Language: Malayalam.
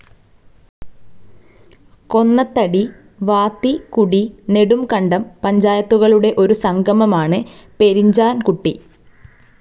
കൊന്നത്തടി, വാത്തി കുടി, നെടുംകണ്ടം പഞ്ചായത്തുകളുടെ ഒരു സംഗമമാണ് പെരിഞ്ചാൻ കുട്ടി.